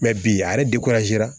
bi ale